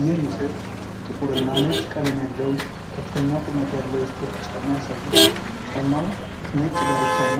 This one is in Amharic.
ይህ ምስል ጥቁርና ነጭ ቀለም ያለው ከፍተኛ ቁመት ያለው የስፖርት ጫማ ያሳያል። ጫማው ነጭ ዳርቻና